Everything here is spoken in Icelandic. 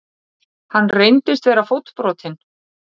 Hann reyndist vera fótbrotinn